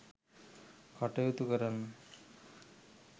කටයුතු කරන්න.